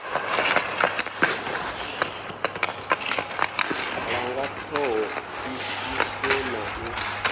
langa ṱho ḓisiso na u